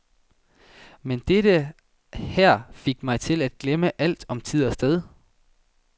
Men dette her fik mig til at glemme alt om tid og sted.